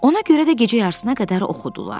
Ona görə də gecə yarısına qədər oxudular.